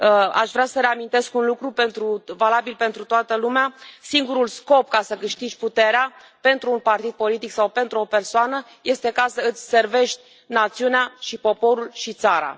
Aș vrea să reamintesc un lucru, valabil pentru toată lumea singurul scop ca să câștigi puterea, pentru un partid politic sau pentru o persoană, este să îți servești națiunea și poporul și țara.